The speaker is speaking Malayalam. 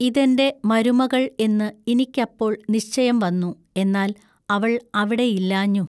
ഇതെന്റെ മരുമകൾ എന്നു ഇനിക്കപ്പൊൾ നിശ്ചയം വന്നു എന്നാൽ അവൾ അവിടെ ഇല്ലാഞ്ഞു.